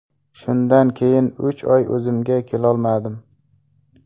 Shundan keyin uch oy o‘zimga kelolmadim.